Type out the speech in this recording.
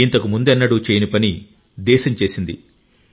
ఇంతకు ముందెన్నడూ చేయని పని దేశం చేసింది